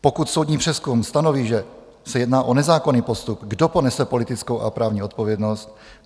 Pokud soudní přezkum stanoví, že se jedná o nezákonný postup, kdo ponese politickou a právní odpovědnost?